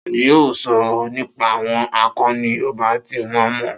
Ta ni yóò sọ nípa àwọn àkọni Yorùbá tí wọ́n mọ̀?